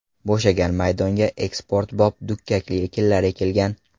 Bo‘shagan maydonga eksportbop dukkakli ekinlar ekilgan.